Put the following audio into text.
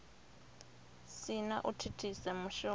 si na u thithisa mushumo